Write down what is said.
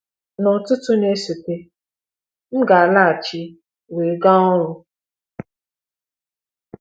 N’ụtụtụ na-esote, m ga-alaghachi wee gaa ọrụ.